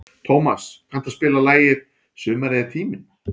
Tómas, kanntu að spila lagið „Sumarið er tíminn“?